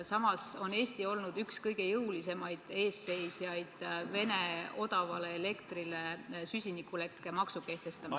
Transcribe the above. Samas on Eesti olnud üks kõige jõulisemaid eesseisjaid Venemaa odavale elektrile süsinikulekke maksu kehtestamisel.